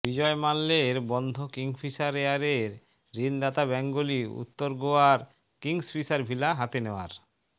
বিজয় মাল্যের বন্ধ কিংগ্ফিশার এয়ারের ঋণদাতা ব্যাঙ্কগুলি উত্তর গোয়ার কিংগ্ফিশার ভিলা হাতে নেওয়ার